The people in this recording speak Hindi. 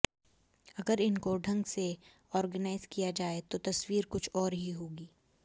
अगर इनको ढंग से ऑर्गनाइज किया जाए तो तस्वीर कुछ और ही होगी